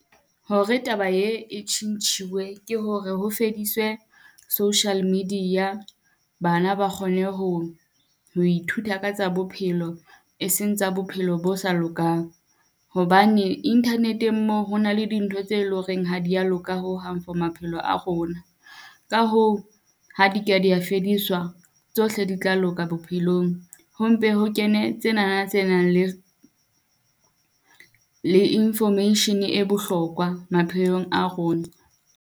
Hore taba ee e tjhintjhuwe, ke hore ho fediswe social media bana ba kgone ho ho ithuta ka tsa bophelo, e seng tsa bophelo bo sa lokang. Hobane internet-eng moo ho na le dintho tse loreng ha di ya loka ho hang for maphelo a rona, ka hoo ha di ka di ya fediswa, tsohle di tla loka bophelong ho mpe ho kene tsenana tse nang le, le information-e e bohlokoa maphelong a rona.